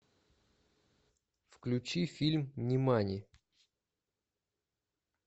включи фильм нимани